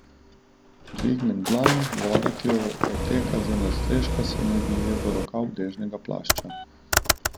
Dvignem dlan, voda, ki odteka z nadstreška, se mi vlije v rokav dežnega plašča.